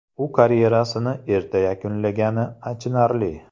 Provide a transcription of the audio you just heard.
U karyerasini erta yakunlagani achinarli.